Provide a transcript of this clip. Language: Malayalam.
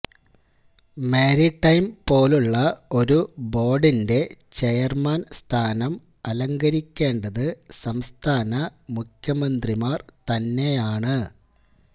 മാരിടൈം പോലുള്ള ഒരു ബോർഡിന്റെ ചെയർമാൻ സ്ഥാനം അലങ്കരിക്കേണ്ടത് സംസ്ഥാന മുഖ്യമന്ത്രിമാർ തന്നെയാണ്